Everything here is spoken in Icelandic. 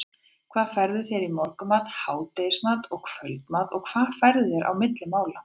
hvað færðu þér í morgunmat, hádegismat og kvöldmat og hvað færðu þér á milli mála?